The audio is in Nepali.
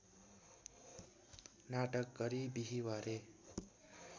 नाटक गरी बिहिवारे